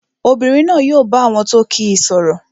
Obìnrin náà yóò bá àwọn tó kíi sọ̀rọ̀